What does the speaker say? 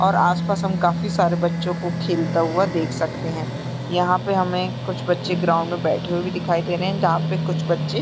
और आसपास हम काफी सारे बच्चों को खेलता हुआ देख सकते है यहाँ पे हमें कुछ बच्चे ग्राउंड में बैठे हुए भी दिखाई दे रहे है जहाँ पे कुछ बच्चे --